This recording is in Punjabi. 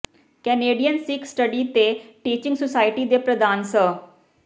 ਕੈਨੇਡੀਅਨ ਸਿੱਖ ਸਟੱਡੀ ਤੇ ਟੀਚਿੰਗ ਸੁਸਾਇਟੀ ਦੇ ਪ੍ਰਧਾਨ ਸ